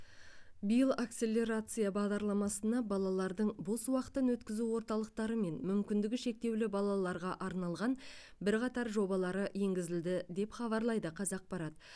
биыл акселерация бағдарламасына балалардың бос уақытын өткізу орталықтары мен мүмкіндігі шектеулі балаларға арналған бірқатар жобалары енгізілді деп хабарлайды қазақпарат